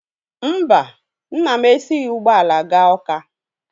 Mba, nna m esighi ụgbọala gaa Ọ́ká.